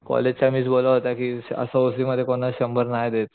college च्या miss बोलल्या होत्या कि असं एन व सी मध्ये कोणी शंभर नाही देत